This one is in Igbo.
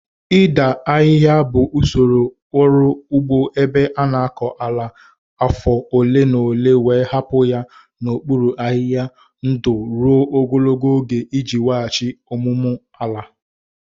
Ịda ahịhịa bụ usoro ọrụ ugbo ebe a na-akọ ala afọ ole na ole wee hapụ ya n'okpuru ahịhịa ndụ ruo ogologo oge iji weghachi ọmụmụ ala.